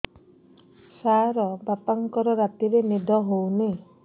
ସାର ବାପାଙ୍କର ରାତିରେ ନିଦ ହଉନି